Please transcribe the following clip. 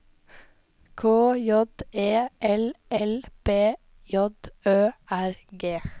K J E L L B J Ø R G